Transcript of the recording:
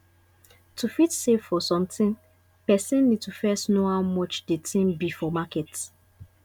to fit save for something person need to first know how much di thing be for market